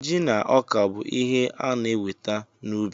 Ji na ọka bụ ihe a na-enweta n'ubi.